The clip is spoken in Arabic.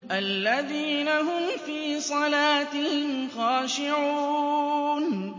الَّذِينَ هُمْ فِي صَلَاتِهِمْ خَاشِعُونَ